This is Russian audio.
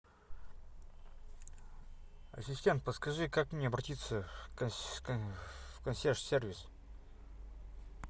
ассистент подскажи как мне обратиться в консьерж сервис